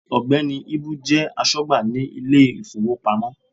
Ògbẹ́ni Íbú jẹ́ asógbà ní Ilé ìfowópamọ́